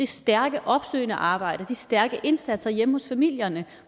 stærke opsøgende arbejde de stærke indsatser hjemme hos familierne